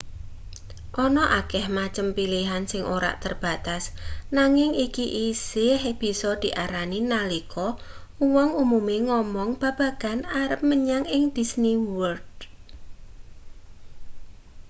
ana akeh macem pilihan sing ora terbatas nanging iki isih bisa diarani nalika uwong umume ngomong babagan arep menyang ing disney world